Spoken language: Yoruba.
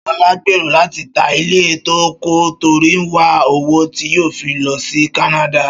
Ṣọlá ń gbèrò láti ta ilé tó ń kọ́ torí ó ń wá owó tí yóò fi lọ sí Kánádà